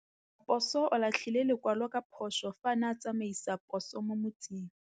Raposo o latlhie lekwalô ka phosô fa a ne a tsamaisa poso mo motseng.